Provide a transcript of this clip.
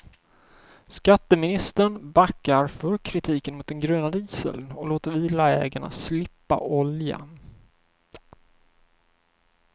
Skatteministern backar för kritiken mot den gröna dieseln och låter villaägarna slippa oljan.